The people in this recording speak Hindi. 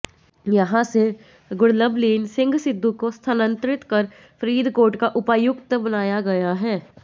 यहां से गुरलवलीन सिंह सिद्धू को स्थानांतरित कर फरीदकोट का उपायुक्त बनाया गया है